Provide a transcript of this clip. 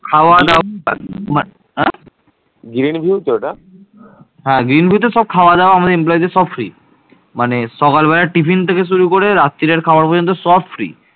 brainview ওটা হ্যাঁ brain view তে খাওয়া দাওয়া আমাদের দের সব মানে সকাল বেলা থেকে শুরু করে রাত্রিরের খাওয়ার পর্যন্ত সব free